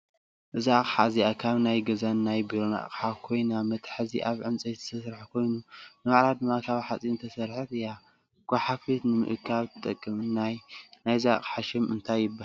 እዛ ኣቅሓ እዚኣ ካብ ናይ ገዛን ናይ ቢሮን ኣቅሓ ኮይና መትሓዚኣ ካብ ዕንፀይቲ ዝተሰርሐ ኮይኑ ንባዕላ ድማ ካብ ሓፂን ዝተሰረሐት እያ። ጓሓፈት ንምእካብ ትጠቅም። ናይዛ ኣቅሓ ሽም እንታይ ትበሃል ?